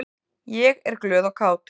Ég er glöð og kát.